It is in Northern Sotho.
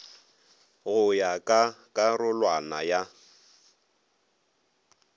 go ya ka karolwana ya